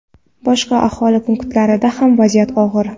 Boshqa aholi punktlarida ham vaziyat og‘ir.